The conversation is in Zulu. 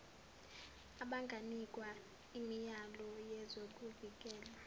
abanganikwa imiyalo yezokuvikela